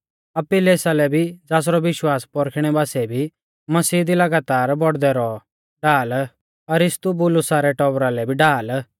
अपिल्लेसा लै भी ज़ासरौ विश्वास पौरखिणै बासीऐ भी मसीह दी लगातार बौड़दै रौ ढाल अरिस्तुबुलुसा रै टौबरा लै भी ढाल